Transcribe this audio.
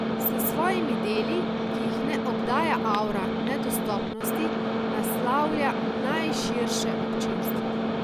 S svojimi deli, ki jih ne obdaja avra nedostopnosti, naslavlja najširše občinstvo.